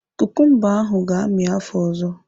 Kukumba ahụ ga-amị afọ ọzọ.